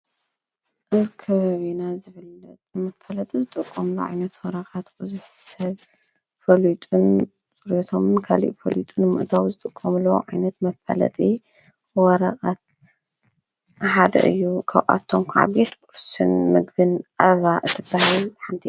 እብ ከበቢና ዘብለጥ መፈለጢ ዝጥቕቆምሎ ዒነት ወረቓት ዉዙኅ ሰብ ፈልጥን ጽርቶም ከሊእ ጰሉጥን ምእታዊ ዝጥቆምሎ ዓይነት መፈለጢ ወረቓት ሓደ እዩ ኸዉኣቶም ኳዓቤት ጵርስን ምግብን ዕባ እትበይይ ሓንቲ እያ ::